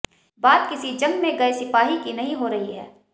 बात किसी जंग में गए सिपाही की नहीं हो रही है